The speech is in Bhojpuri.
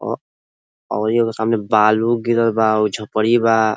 ओ अउरी एगो समाने बालू गिरल बा। उ झोपड़ी बा।